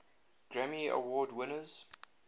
grammy award winners